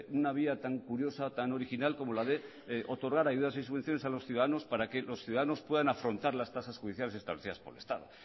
una vía tan curiosa tan original como la de otorgar ayudas y subvenciones a los ciudadanos para que los ciudadanos puedan afrontar las tasas judiciales establecidas por el estado